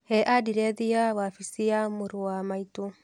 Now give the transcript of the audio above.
Hee andirethi cia wabici ya mũrũ wa maitũ.